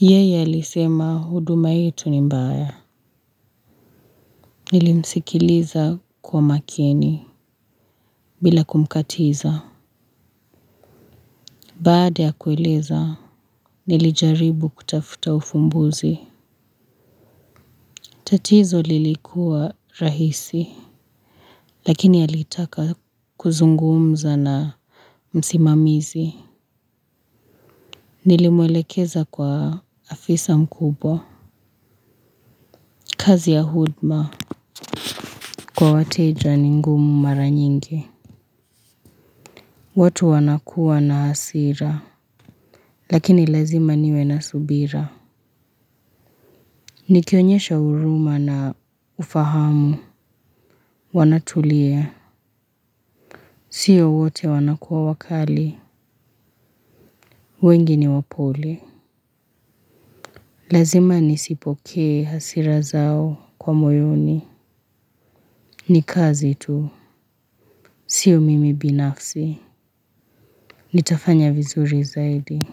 Yeye alisema huduma yetu ni mbaya. Nilimsikiliza kwa makini, bila kumkatiza. Baada ya kueleza, nilijaribu kutafuta ufumbuzi. Tatizo lilikuwa rahisi lakini alitaka kuzungumza na msimamizi. Nilimwelekeza kwa afisa mkubwa. Kazi ya hudma, kwa wateja ni ngumu mara nyingi. Watu wanakuwa na hasira. Lakini lazima niwe na subira. Nikionyesha huruma na ufahamu. Wanatulia. Sio wote wanakuwa wakali. Wengi ni wapole. Lazima nisipokee hasira zao kwa moyoni. Ni kazi tu. Sio mimi binafsi. Nitafanya vizuri zaidi.